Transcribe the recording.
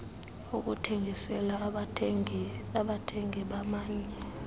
ukuthengisela abathengi bamanye